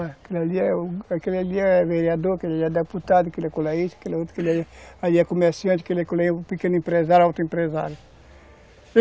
Aquele ali é aquele ali é vereador, aquele ali é deputado, aquele ali é comerciante, aquele ali é pequeno empresário, alto empresário.